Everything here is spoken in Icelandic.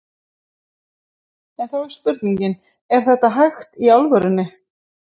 En þá er spurningin, er þetta hægt í alvörunni?